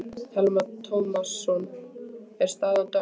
Telma Tómasson: Er staðan dökk?